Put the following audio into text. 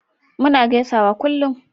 muna gaisawa kullum